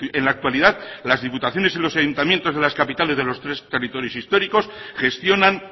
en la actualidad las diputaciones y los ayuntamientos de las capitales de los tres territorios históricos gestionan